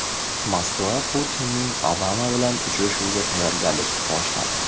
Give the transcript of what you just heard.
Moskva Putinning Obama bilan uchrashuviga tayyorgarlikni boshladi.